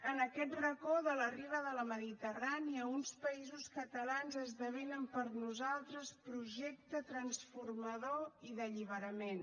en aquest racó de la riba de la mediterrània uns països catalans esdevenen per nosaltres projecte transformador i d’alliberament